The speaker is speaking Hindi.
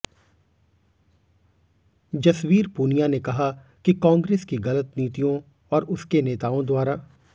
जसवीर पूनिया ने कहा कि कांग्रेस की गलत नीतियों और उसके नेताओं द्वारा